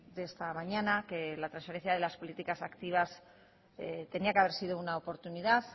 de esta mañana que la transferencia de las políticas activas tenía que haber sido una oportunidad